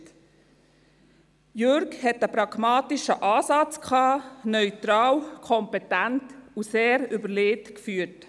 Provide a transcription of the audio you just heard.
Iseli hatte einen pragmatischen Ansatz und führte neutral, kompetent und sehr durchdacht.